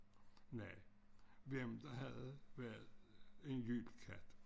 Nej hvem der havde været en jylkatt